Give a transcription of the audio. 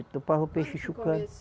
E topavam o peixe